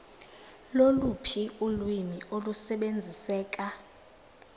loluphi ulwimi olusebenziseka